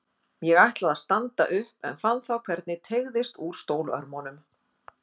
Ég ætlaði að standa upp en fann þá hvernig teygðist úr stólörmunum.